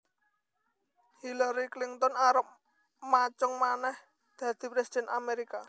Hillary Clinton arep macung maneh dadi presiden Amerika